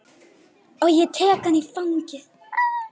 Og ég tek hana í fangið.